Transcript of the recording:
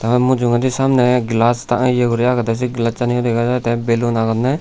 aro mujeindi samne glass ta ye uri agede se glassani yo dega jai te ballon agonne.